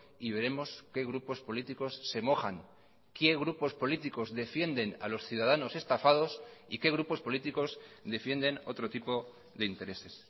y veremos qué grupos políticos se mojan qué grupos políticos defienden a los ciudadanos estafados y qué grupos políticos defienden otro tipo de intereses